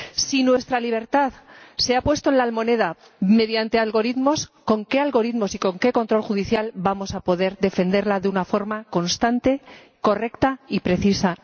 Si nuestra libertad se ha puesto en la almoneda mediante algoritmos, ¿con qué algoritmos y con qué control judicial vamos a poder defenderla de una forma constante, correcta y precisa?